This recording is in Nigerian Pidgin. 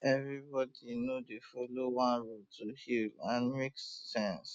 everybody no dey dey follow one road to heal and e still make sense